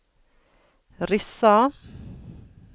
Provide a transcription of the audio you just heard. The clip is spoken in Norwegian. Rissa